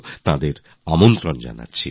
আপনাদের সকলকে আমন্ত্রণ জানাই